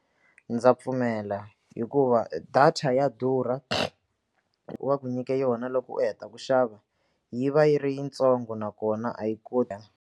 Ndza pfumela hikuva data ya durha va ku nyike yona loko u heta ku xava yi va yi ri yitsongo nakona a yi koti.